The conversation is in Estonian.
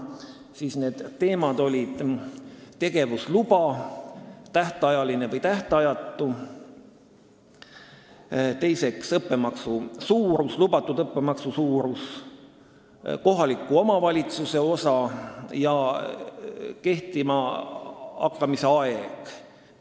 Jagan need teemade järgi: tähtajaline või tähtajatu tegevusluba, lubatud õppemaksu suurus, kohaliku omavalitsuse osa ja kehtima hakkamise aeg.